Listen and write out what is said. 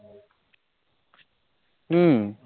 উহ